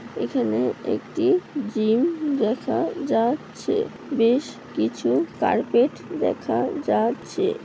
এখানে একটি জিম দেখা যা-চ্ছে। বেশ কিছু কার্পেট দেখা যাচ্ছে।